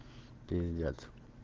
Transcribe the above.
пиздец